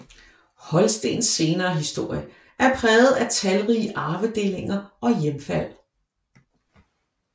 Holstens senere historie er præget af talrige arvedelinger og hjemfald